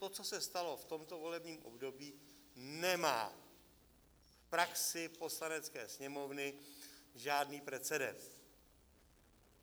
To, co se stalo v tomto volebním období, nemá v praxi Poslanecké sněmovny žádný precedens.